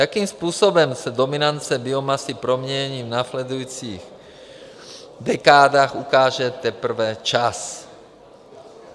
Jakým způsobem ses dominance biomasy promění v následujících dekádách, ukáže teprve čas.